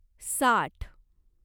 साठ